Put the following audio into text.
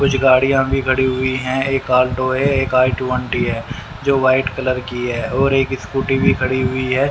कुछ गाड़ियां भी खड़ी हुई है एक ऑल्टो है एक आई ट्वेंटी है जो व्हाइट कलर की है और एक स्कूटी भी खड़ी हुई है।